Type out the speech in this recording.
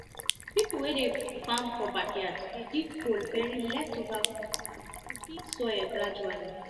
people wey dey farm for backyard dey dig hole bury leftover food soil gradually